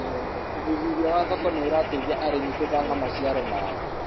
ũthuthuria wa thoko nĩ ũrateithia arĩmi gubaga maciaro maao